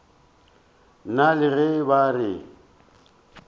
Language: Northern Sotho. nna le ge ba re